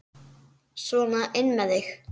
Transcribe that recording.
Sona inn með þig!